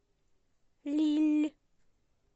лилль